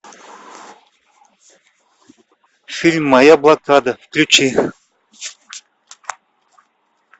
фильм моя блокада включи